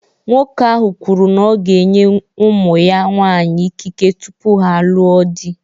Nwoke ahụ kwuru na ya ga-enye ụmụ ya nwaanyị ikike tupu ha alụọ di.